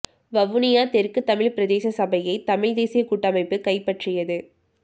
வவுனியா தெற்கு தமிழ் பிரதேச சபையை தமிழ் தேசிய கூட்டமைப்பு கைப்பற்றியது